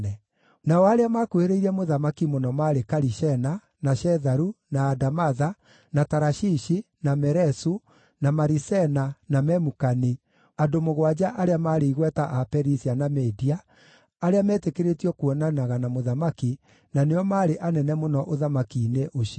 Nao arĩa maakuhĩrĩirie mũthamaki mũno maarĩ Karishena, na Shetharu, na Adamatha, na Tarashishi, na Meresu, na Marisena na Memukani, andũ mũgwanja arĩa maarĩ igweta a Perisia na Media, arĩa meetĩkĩrĩtio kuonanaga na mũthamaki, na nĩo maarĩ anene mũno ũthamaki-inĩ ũcio.